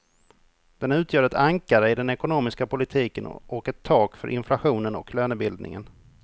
Den utgör ett ankare i den ekonomiska politiken och ett tak för inflationen och lönebildningen.